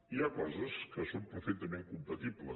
i hi ha coses que són perfectament compatibles